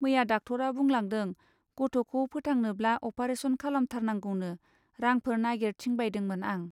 मैया डाकटरा बुंलांदों गथ'खौ फोथांनोब्ला अपारेसन खालामथारनांगौनो रांफोर नागिर थिंबायदोंमोन आं.